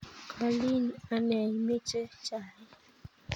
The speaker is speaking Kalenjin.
kolin ane imeche chaik